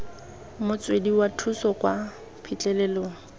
motswedi wa thuso kwa phitlhelelong